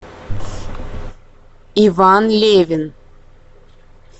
иван левин